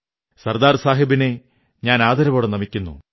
സർദാർ സാഹബിനെ ഞാൻ ആദരവോടെ നമിക്കുന്നു